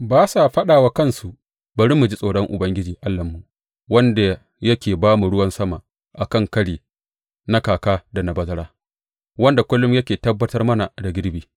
Ba sa faɗa wa kansu, Bari mu ji tsoron Ubangiji Allahnmu, wanda yake ba mu ruwan sama a kan kari na kaka da na bazara, wanda kullum yake tabbatar mana da girbi.’